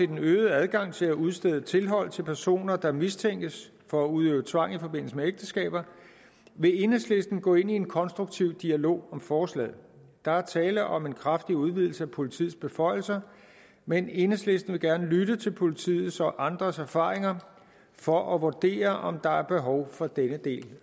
den øgede adgang til at udstede tilhold til personer der mistænkes for at udøve tvang i forbindelse med ægteskaber vil enhedslisten gå ind i en konstruktiv dialog om forslaget der er tale om en kraftig udvidelse af politiets beføjelser men enhedslisten vil gerne lytte til politiets og andres erfaringer for at vurdere om der er behov for denne del